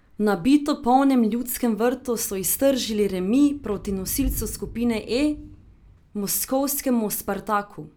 V nabito polnem Ljudskem vrtu so iztržili remi proti nosilcu skupine E, moskovskemu Spartaku.